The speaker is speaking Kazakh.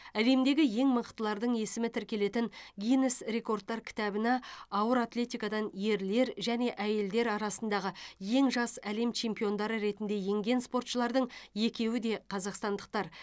әлемдегі ең мықтылардың есімі тіркелетін гиннес рекордтар кітабына ауыр атлетикадан ерлер және әйелдер арасындағы ең жас әлем чемпиондары ретінде енген спортшылардың екеуі де қазақстандықтар